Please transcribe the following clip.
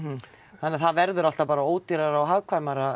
þannig að það verður alltaf bara ódýrarar og hagkvæmara